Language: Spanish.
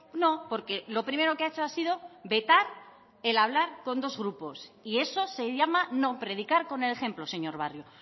no porque lo primero que ha hecho ha sido vetar el hablar con dos grupos y eso se llama no predicar con el ejemplo señor barrio